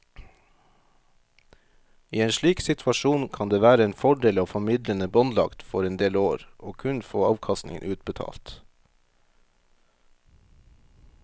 I en slik situasjon kan det være en fordel å få midlene båndlagt for en del år og kun få avkastningen utbetalt.